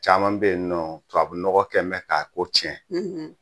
Caman bɛ yen nɔ tubabunɔgɔ kɛ bɛ k'a ko tiɲɛ